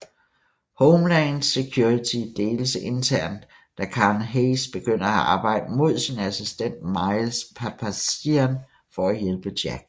Homeland Security deles internt da Karen Hayes begynder at arbejde mod sin assistent Miles Papazian for at hjælpe Jack